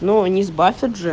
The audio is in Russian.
но не сбавь